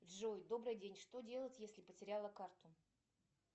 джой добрый день что делать если потеряла карту